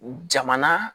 Jamana